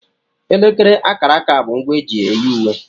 Elekere aka aka bụ ngwa eji eyi uwe.